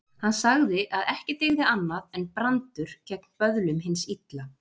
Hann sagði að ekki dygði annað en brandur gegn böðlum hins illa.